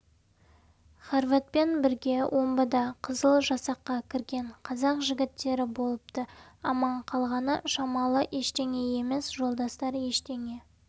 хорватпен бірге омбыда қызыл жасаққа кірген қазақ жігіттері болыпты аман қалғаны шамалы ештеңе емес жолдастар ештеңе